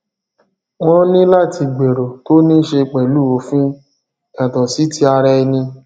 wón ní láti gbèrò tó ní ṣe pẹlú òfin yàtọ sí ti ará ẹni